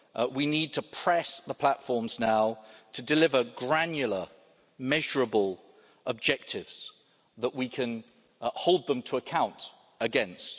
We need to press the platforms now to deliver granular, measurable objectives that we can hold them to account against.